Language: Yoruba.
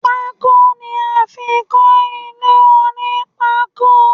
Pako ni a fi ń kọ ilé onipako